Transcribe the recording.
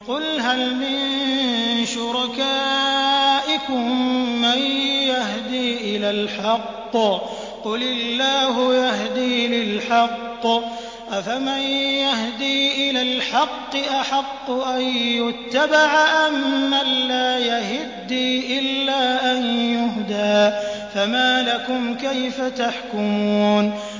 قُلْ هَلْ مِن شُرَكَائِكُم مَّن يَهْدِي إِلَى الْحَقِّ ۚ قُلِ اللَّهُ يَهْدِي لِلْحَقِّ ۗ أَفَمَن يَهْدِي إِلَى الْحَقِّ أَحَقُّ أَن يُتَّبَعَ أَمَّن لَّا يَهِدِّي إِلَّا أَن يُهْدَىٰ ۖ فَمَا لَكُمْ كَيْفَ تَحْكُمُونَ